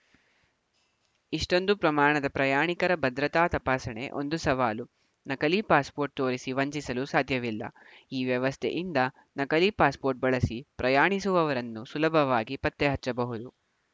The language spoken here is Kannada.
ಇಷ್ಟೊಂದು ಪ್ರಮಾಣದ ಪ್ರಯಾಣಿಕರ ಭದ್ರತಾ ತಪಾಸಣೆ ಒಂದು ಸವಾಲು ನಕಲಿ ಪಾಸ್‌ಪೋರ್ಟ್‌ ತೋರಿಸಿ ವಂಚಿಸಲು ಸಾಧ್ಯವಿಲ್ಲ ಈ ವ್ಯವಸ್ಥೆಯಿಂದ ನಕಲಿ ಪಾಸ್‌ಪೋರ್ಟ್‌ ಬಳಸಿ ಪ್ರಯಾಣಿಸುವವರನ್ನು ಸುಲಭವಾಗಿ ಪತ್ತೆಹಚ್ಚಬಹುದು